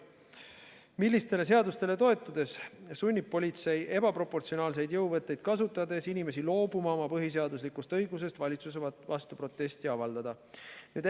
Millistele seadustele toetudes sunnib politsei ebaproportsionaalseid jõuvõtteid kasutades inimesi loobuma oma põhiseaduslikust õigusest valitsuse vastu protesti avaldada?